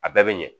A bɛɛ bɛ ɲɛ